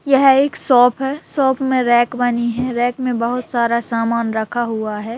यह एक शॉप हैं शॉप में रेक बनी है रैक में बहुत सारा सामान रखा हुआ है।